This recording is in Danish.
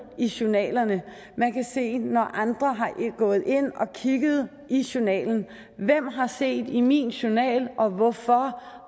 i journalerne man kan se når andre er gået ind og har kigget i journalen hvem har set i min journal hvorfor